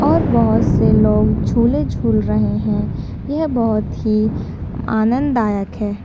और बहुत से लोग झूले-झूल रहे हैं। ये बोहोत ही आनंद दायक है।